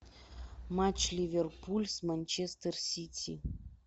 матч ливерпуль с манчестер сити